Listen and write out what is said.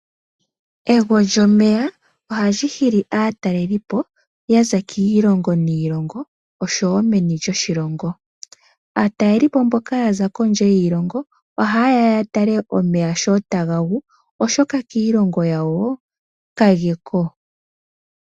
Ego lyomeya oha li hili aataleli po ya za kiilongo niilonga osho wo meni lyoshilongo. Aatalelipo mboka ya za kondje yiilongo oha yeya ya tale omeya sho taga gu oshoka kiilongo yawo ka ge ko.